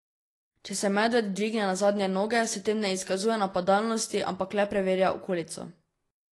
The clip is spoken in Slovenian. Če se medved dvigne na zadnje noge, s tem ne izkazuje napadalnosti, ampak le preverja okolico.